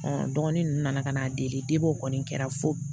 dɔgɔnin ninnu nana ka na deli kɔni kɛra fo